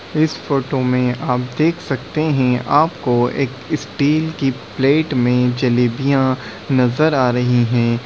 इस फोटो में आप देख सकते है आपको एक स्टील की प्लेट में जलेबियां नजर आ रही हैं।